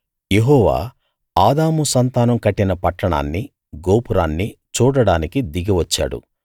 యెహోవా ఆదాము సంతానం కట్టిన పట్టణాన్ని గోపురాన్ని చూడడానికి దిగి వచ్చాడు